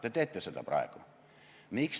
Te teete seda praegu.